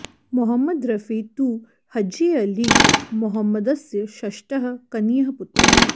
मोहम्मद रफी तु हज्जी अलि मोहम्मदस्य षष्टः कनीयः पुत्रः